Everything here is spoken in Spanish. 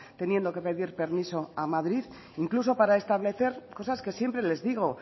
teniendo que pedir permiso a madrid incluso para establecer cosas que siempre les digo